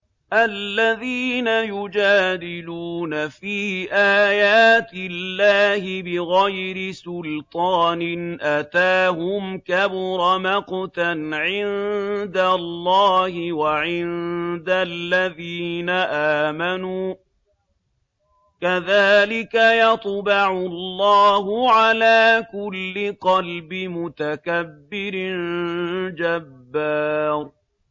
الَّذِينَ يُجَادِلُونَ فِي آيَاتِ اللَّهِ بِغَيْرِ سُلْطَانٍ أَتَاهُمْ ۖ كَبُرَ مَقْتًا عِندَ اللَّهِ وَعِندَ الَّذِينَ آمَنُوا ۚ كَذَٰلِكَ يَطْبَعُ اللَّهُ عَلَىٰ كُلِّ قَلْبِ مُتَكَبِّرٍ جَبَّارٍ